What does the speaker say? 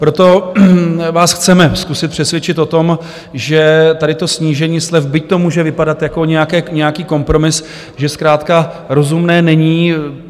Proto vás chceme zkusit přesvědčit o tom, že tady to snížení slev, byť to může vypadat jako nějaký kompromis, že zkrátka rozumné není.